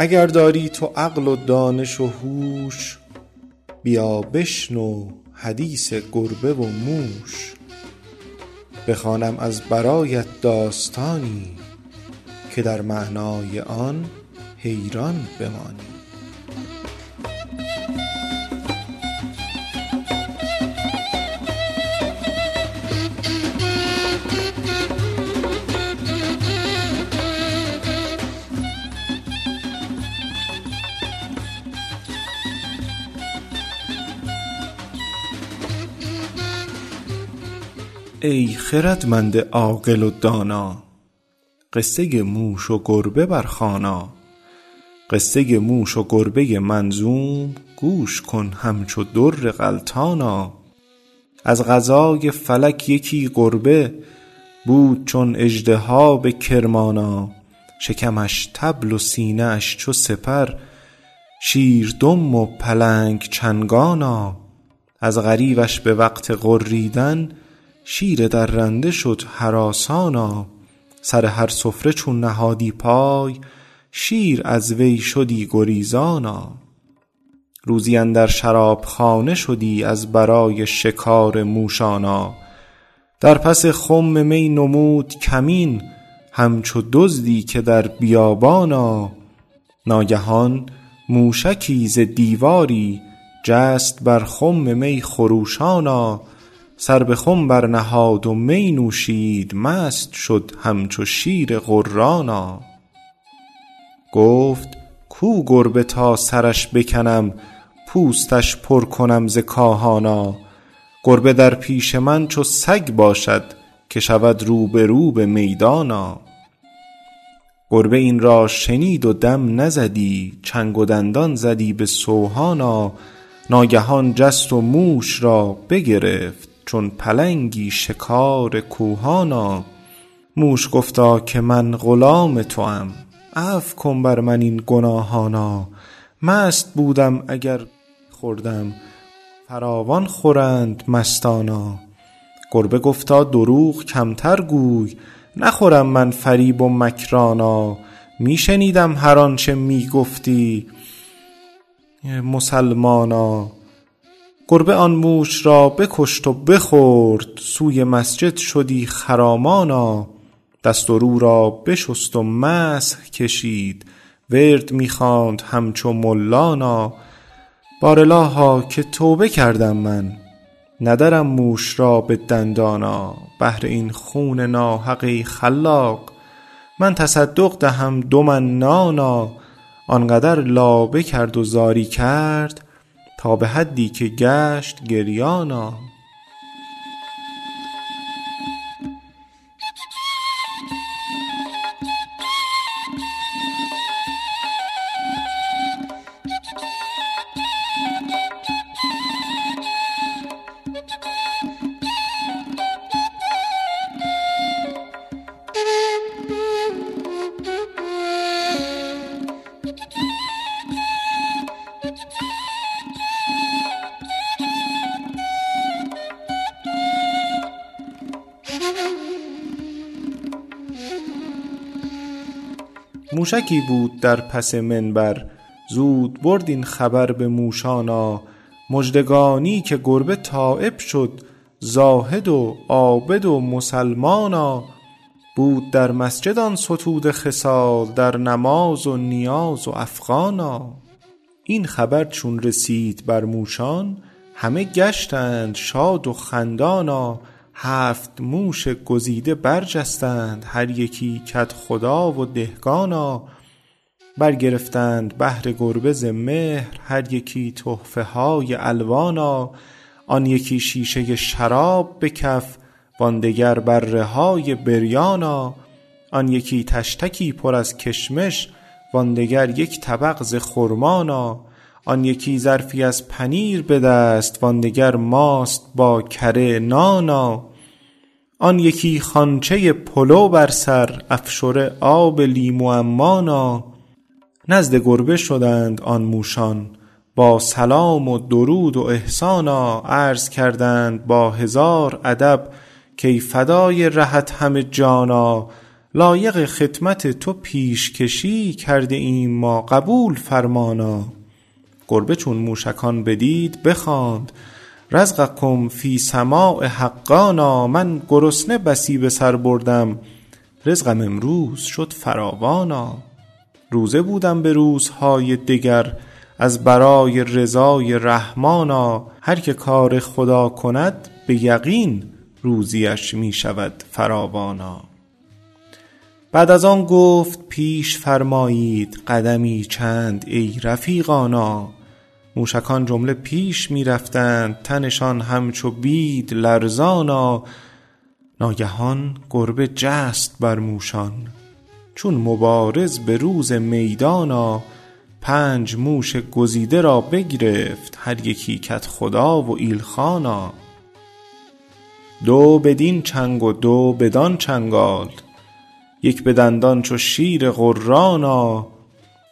اگر داری تو عقل و دانش و هوش بیا بشنو حدیث گربه و موش بخوانم از برایت داستانی که در معنای آن حیران بمانی ای خردمند عاقل و دانا قصه موش و گربه برخوانا قصه موش و گربه منظوم گوش کن همچو در غلتانا از قضای فلک یکی گربه بود چون اژدها به کرمانا شکمش طبل و سینه اش چو سپر شیر دم و پلنگ چنگانا از غریوش به وقت غریدن شیر درنده شد هراسانا سر هر سفره چون نهادی پای شیر از وی شدی گریزانا روزی اندر شرابخانه شدی از برای شکار موشانا در پس خم نموده بود کمین همچو دزدی که در بیابانا ناگهان موشکی ز دیواری جست بر خم می خروشانا سر به خم برنهاد و می نوشید مست شد همچو شیر غرانا گفت کو گربه تا سرش بکنم پوستش پر کنم ز کاهانا گربه در پیش من چو سگ باشد که شود روبرو به میدانا گربه این را شنید و دم نزدی چنگ و دندان زدی به سوهانا ناگهان جست و موش را بگرفت چون پلنگی شکار کوهانا موش گفتا که من غلام توام عفو کن بر من این گناهانا مست بودم اگر گهی خوردم گه فراوان خورند مستانا گربه گفتا دروغ کمتر گوی نخورم من فریب و مکرانا می شنیدم هرآنچه می گفتی آروادین قحبه مسلمانا گربه آن موش را بکشت و بخورد سوی مسجد شدی خرامانا دست و رو را بشست و مسح کشید ورد می خواند همچو ملانا بار الها که توبه کردم من ندرم موش را به دندانا بهر این خون ناحق ای خلاق من تصدق دهم دو من نانا آنقدر لابه کرد و زاری کرد تا به حدی که گشت گریانا موشکی بود در پس منبر زود برد این خبر به موشانا مژدگانی که گربه تایب شد زاهد و عابد و مسلمانا بود در مسجد آن ستوده خصال در نماز و نیاز و افغانا این خبر چون رسید بر موشان همه گشتند شاد و خندانا هفت موش گزیده برجستند هر یکی کدخدا و دهقانا برگرفتند بهر گربه ز مهر هر یکی تحفه های الوانا آن یکی شیشه شراب به کف وان دگر بره های بریانا آن یکی طشتکی پر از کشمش وان دگر یک طبق ز خرمانا آن یکی ظرفی از پنیر به دست وان دگر ماست با کره نانا آن یکی خوانچه پلو بر سر افشره آب لیمو عمانا نزد گربه شدند آن موشان با سلام و درود و احسانا عرض کردند با هزار ادب کای فدای رهت همه جانا لایق خدمت تو پیشکشی کرده ایم ما قبول فرمانا گربه چون موشکان بدید بخواند رزقکم فی السماء حقانا من گرسنه بسی به سر بردم رزقم امروز شد فراوانا روزه بودم به روزهای دگر از برای رضای رحمانا هرکه کار خدا کند به یقین روزی اش می شود فراوانا بعد از آن گفت پیش فرمایید قدمی چند ای رفیقانا موشکان جمله پیش می رفتند تنشان همچو بید لرزانا ناگهان گربه جست بر موشان چون مبارز به روز میدانا پنج موش گزیده را بگرفت هر یکی کدخدا و ایلخانا دو بدین چنگ و دو بدانچنگال یک به دندان چو شیر غرانا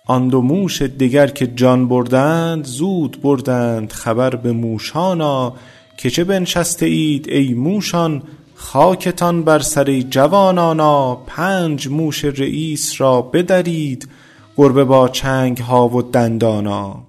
آن دو موش دگر که جان بردند زود بردند خبر به موشانا که چه بنشسته اید ای موشان خاکتان بر سر ای جوانانا پنج موش رییس را بدرید گربه با چنگ ها و دندانا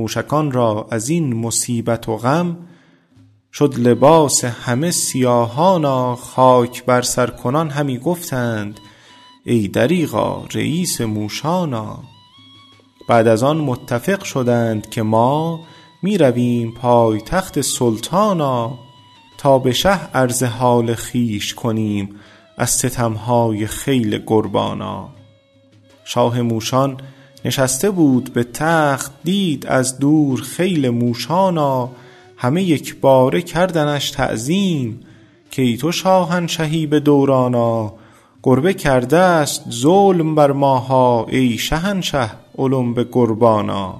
موشکان را از این مصیبت و غم شد لباس همه سیاهانا خاک بر سر کنان همی گفتند ای دریغا رییس موشانا بعد از آن متفق شدند که ما می رویم پای تخت سلطانا تا به شه عرض حال خویش کنیم از ستم های خیل گربانا شاه موشان نشسته بود به تخت دید از دور خیل موشانا همه یکباره کردنش تعظیم کای تو شاهنشهی به دورانا گربه کرده است ظلم بر ماها ای شهنشه اولوم به قربانا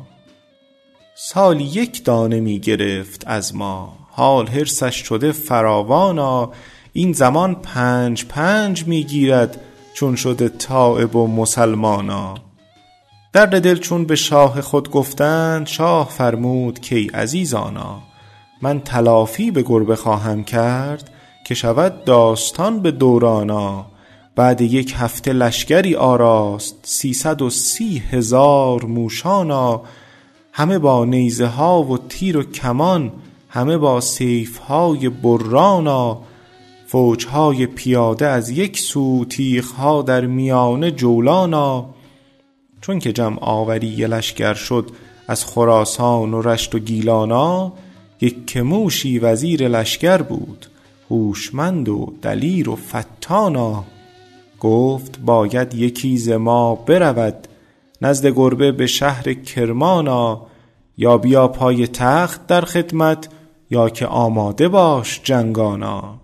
سالی یک دانه می گرفت از ما حال حرصش شده فراوانا این زمان پنج پنج می گیرد چون شده تایب و مسلمانا درد دل چون به شاه خود گفتند شاه فرمود که ای عزیزانا من تلافی به گربه خواهم کرد که شود داستان به دورانا بعد یک هفته لشگری آراست سیصد و سی هزار موشانا همه با نیزه ها و تیر و کمان همه با سیف های برانا فوج های پیاده از یک سو تیغ ها در میانه جولانا چونکه جمع آوری لشگر شد از خراسان و رشت و گیلانا یکه موشی وزیر لشگر بود هوشمند و دلیر و فطانا گفت باید یکی ز ما برود نزد گربه به شهر کرمانا یا بیا پای تخت در خدمت یا که آماده باش جنگانا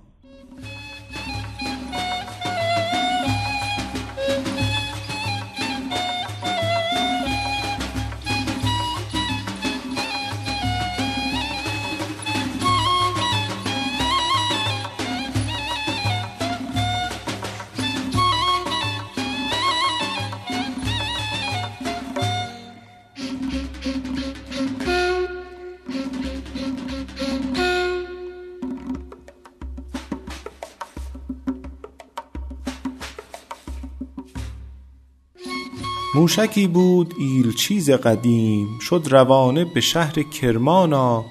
موشکی بود ایلچی ز قدیم شد روانه به شهر کرمانا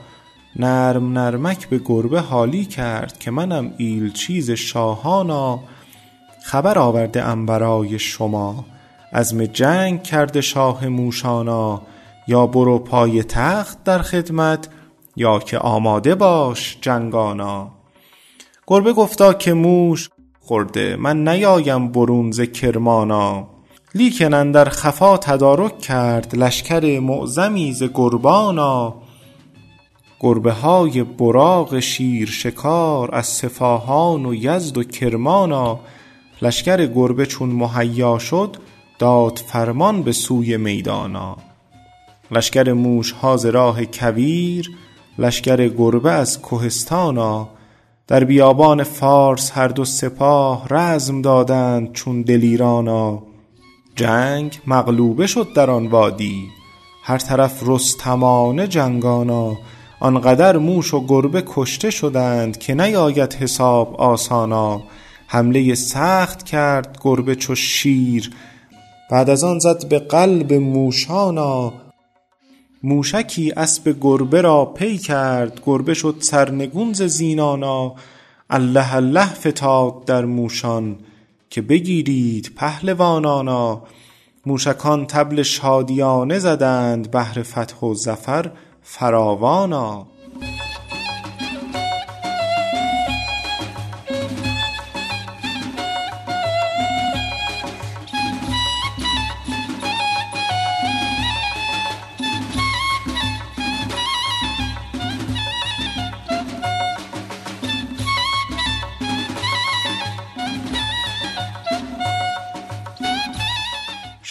نرم نرمک به گربه حالی کرد که منم ایلچی ز شاهانا خبر آورده ام برای شما عزم جنگ کرده شاه موشانا یا برو پای تخت در خدمت یا که آماده باش جنگانا گربه گفتا که شاه گه خورده من نیایم برون ز کرمانا لیکن اندر خفا تدارک کرد لشگر معظمی ز گربانا گربه های براق شیر شکار از صفاهان و یزد و کرمانا لشگر گربه چون مهیا شد داد فرمان به سوی میدانا لشگر موشها ز راه کویر لشگر گربه از کهستانا در بیابان فارس هر دو سپاه رزم دادند چون دلیرانا جنگ مغلوبه شد در آن وادی هر طرف رستمانه جنگانا آنقدر موش و گربه کشته شدند که نیاید حساب آسانا حمله سخت کرد گربه چو شیر بعد از آن زد به قلب موشانا موشکی اسب گربه را پی کرد گربه شد سرنگون ز زینانا الله الله فتاد در موشان که بگیرید پهلوانانا موشکان طبل شادیانه زدند بهر فتح و ظفر فراوانا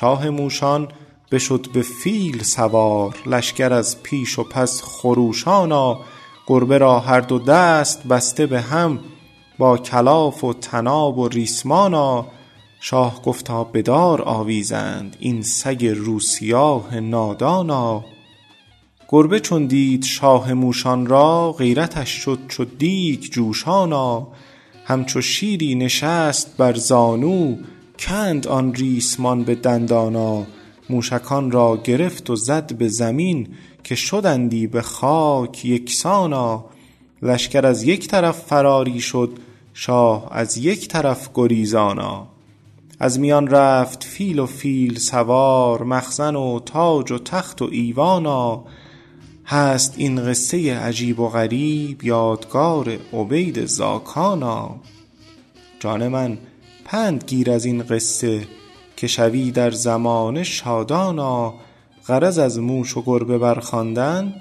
شاه موشان بشد به فیل سوار لشگر از پیش و پس خروشانا گربه را هر دو دست بسته به هم با کلاف و طناب و ریسمانا شاه گفتا بدار آویزند این سگ روسیاه نادانا گربه چون دید شاه موشان را غیرتش شد چو دیگ جوشانا همچو شیری نشست بر زانو کند آن ریسمان به دندانا موشکان را گرفت و زد به زمین که شدندی به خاک یکسانا لشگر از یک طرف فراری شد شاه از یک جهت گریزانا از میان رفت فیل و فیل سوار مخزن و تاج و تخت و ایوانا هست این قصه عجیب و غریب یادگار عبید زاکانا جان من پند گیر از این قصه که شوی در زمانه شادانا غرض از موش و گربه برخواندن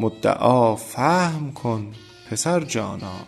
مدعا فهم کن پسر جانا